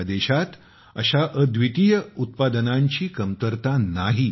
आपल्या देशात अश्या अद्वितीय उत्पादनांची कमतरता नाही